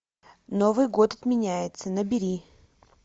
новый год отменяется набери